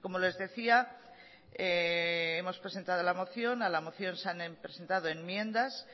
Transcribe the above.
como les decía hemos presentado la moción a la moción se han presentado enmiendas